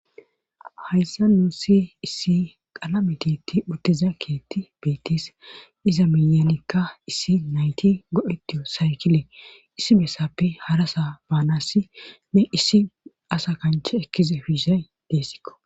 hayssa nuussi issi qalametitti uttiza keetti beettis iza miyanikka issi nayti godhetiyo saykile issi bessappe harasa baanasi ne issi asa kanche ekkize fiishay deessikko